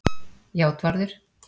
Játvarður